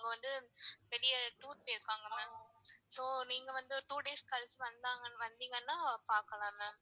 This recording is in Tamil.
அவங்க வந்து வெளிய tour போயிருக்காங்க ma'am so நீங்க வந்து two days கழிச்சி வந்திங்கனா பாக்கலாம் ma'am.